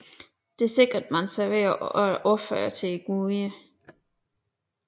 Det sikrede man sig ved at ofre til guderne